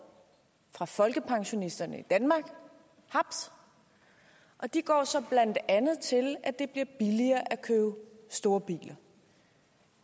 fra folkepensionisterne i danmark haps og de går så blandt andet til at det bliver billigere at købe store biler